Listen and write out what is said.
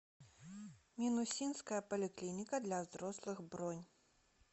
минусинская поликлиника для взрослых бронь